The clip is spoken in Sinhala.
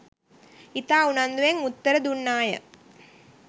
ඉතා උනන්දුවෙන් උත්තර දුන්නාය.